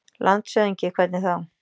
LANDSHÖFÐINGI: Hvernig þá?